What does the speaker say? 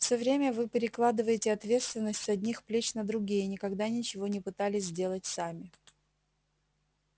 все время вы перекладываете ответственность с одних плеч на другие и никогда ничего не пытались сделать сами